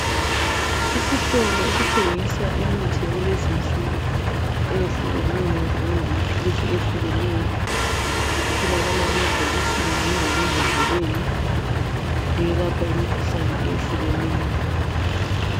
Isitolo esithengisa imithi yakulezi insuku kanye lamapills ayehlukeneyo etholakala emabhokisini kanye lemambodleleni eyelapha imikhuhlane eyehlukeneyo